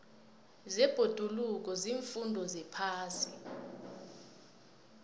zebhoduluko ziimfundo zephasi